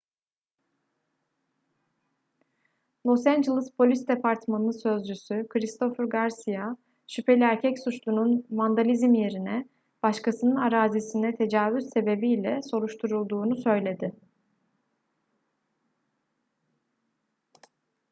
los angeles polis departmanı sözcüsü christopher garcia şüpheli erkek suçlunun vandalizm yerine başkasının arazisine tecavüz sebebiyle soruşturulduğunu söyledi